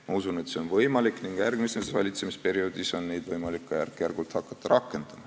Ma usun, et see on võimalik ning järgmisel valitsemisperioodil on võimalik neid ka järk-järgult rakendama hakata.